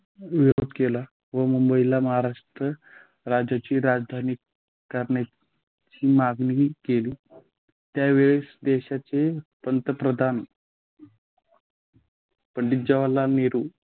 निवडणूक केला व मुंबईला महाराष्ट्र राज्याची राजधानी करण्याची मागणी केली. त्यावेळेस देशाचे पंतप्रधान पंडित जवाहरलाल नेहरू